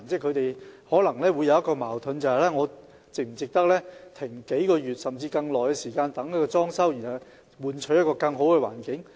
他們可能會覺得矛盾，是否值得停業數月，甚至更長時間進行裝修，以換取一個更佳的環境？